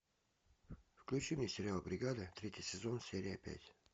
включи мне сериал бригада третий сезон серия пять